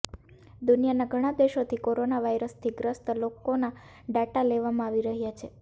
દુનિયાના ઘણા દેશોથી કોરોના વાયરસથી ગ્રસ્ત લોકોના ડાટા લેવામાં આવી રહ્યા છે